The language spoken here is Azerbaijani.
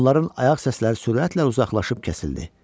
Onların ayaq səsləri sürətlə uzaqlaşıb kəsildi.